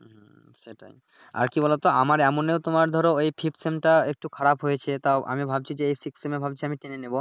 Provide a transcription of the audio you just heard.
হুম সেটাই আর কি বলোতো আমার এমনে তোমার ধরো ওই fifth সেম টা একটু খারাপ হয়েছে তাও আমি ভাবছি যে এই Sixth সেম এ ভাবছি আমি টেনে নিবো